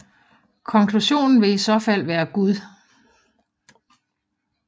Konklusionen vil i så fald være Gud